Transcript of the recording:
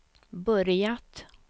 börjat